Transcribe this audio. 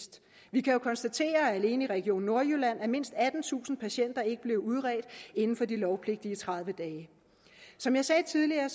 vi kan jo konstatere at alene i region nordjylland er mindst attentusind patienter ikke blevet udredt inden for de lovpligtige tredive dage som jeg sagde tidligere